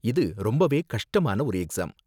இது ரொம்பவே கஷ்டமான ஒரு எக்ஸாம்.